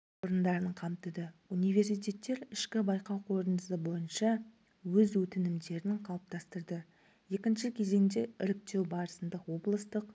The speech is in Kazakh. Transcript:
орындарын қамтыды университеттер ішкі байқау қорытындысы бойынша өз өтінімдерін қалыптастырды екінші кезеңде іріктеу барысына облыстық